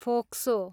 फोक्सो